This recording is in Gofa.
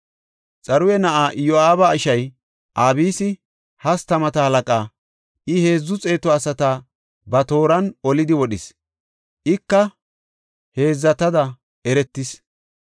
Xaruya na7aa Iyo7aaba ishay Abisi hastamata halaqa; I heedzu xeetu asata ba tooran olidi wodhis; ika heedzatada eretis.